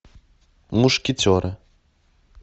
мушкетеры